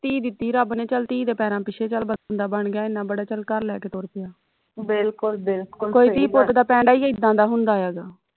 ਧੀ ਦਿੱਤੀ ਰੱਬ ਨੇ ਚੱਲ ਧੀ ਦੇ ਪੈਰਾ ਪਿੱਛੇ ਚੱਲ ਬੰਦਾ ਬਣ ਗਿਆ ਇਨ੍ਹਾਂ ਬੜਾ ਚੱਲ ਘਰ ਲੈ ਕੈ ਤੁਰ ਪਿਆ ਕੋਈ ਧੀ ਪੁੱਤ ਦਾ ਪੈਂਡਾ ਈ ਇੱਦਾਂ ਦਾ ਹੁੰਦਾ ਹੈਗਾ